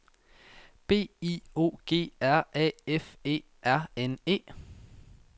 B I O G R A F E R N E